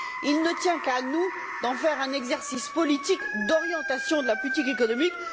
Il ne tient qu'à nous d'en faire un exercice politique d'orientation de la politique économique.